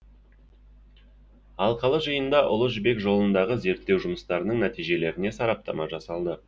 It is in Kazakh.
алқалы жиында ұлы жібек жолындағы зерттеу жұмыстарының нәтижелеріне сараптама жасалды